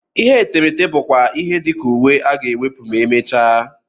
Ihe etemeete bụ kwa ihe dị ka uwe a ga-ewepụ ma e mechaa.